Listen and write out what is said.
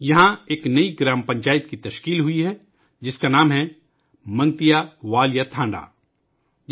یہاں ایک نئی گرام پنچایت بنائی گئی ہے، جس کا نام ہے 'منگتیا والیا ٹھانڈا '